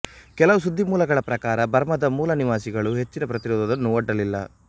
ಕೆಲವು ಸುದ್ದಿ ಮೂಲಗಳ ಪ್ರಕಾರ ಬರ್ಮಾದ ಮೂಲ ನಿವಾಸಿಗಳು ಹೆಚ್ಚಿನ ಪ್ರತಿರೋಧವನ್ನು ಒಡ್ಡಲಿಲ್ಲ